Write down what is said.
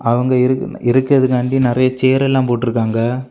அவங்க இருக்கணு இருக்குறதுக்காண்டி நெறைய சேர்ல எல்லாம் போட்டு இருக்காங்க.